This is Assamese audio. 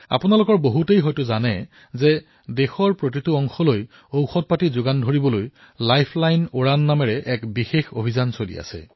আপোনালোকৰ বহুতেই হয়তো গম পায় যে দেশৰ প্ৰতিটো প্ৰান্তত ঔষধ যোগান ধৰাৰ বাবে লাইফলাইন উড়ান নামৰ এক বিশেষ অভিযান চলি আছে